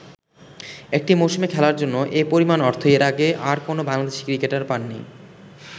একটি মৌসুমে খেলার জন্য এ পরিমাণ অর্থ এর আগে আর কোন বাংলাদেশি ক্রিকেটার পান নি।